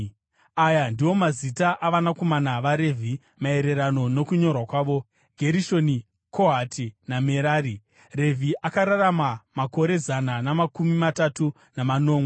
Aya ndiwo mazita avanakomana vaRevhi maererano nokunyorwa kwawo: Gerishoni, Kohati naMerari. (Revhi akararama makore zana namakumi matatu namanomwe.)